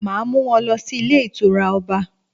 Màá mú won lọ sí Ilé Ìtura Ọba